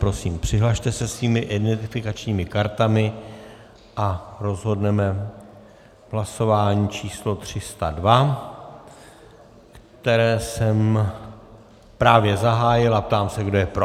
Prosím, přihlaste se svými identifikačními kartami a rozhodneme v hlasování číslo 302, které jsem právě zahájil, a ptám se, kdo je pro.